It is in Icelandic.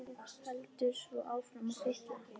Og heldur svo áfram að fitla.